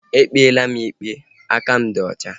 Ekpela m ikpe! Aka m dị ọcha